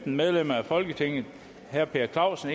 medlem af folketinget herre per clausen